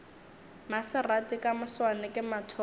maserati ka moswane ke mathomo